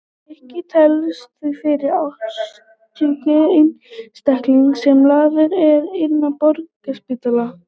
Nikki telst því fyrsti ástsjúki einstaklingurinn sem lagður er inn á Borgarspítalann.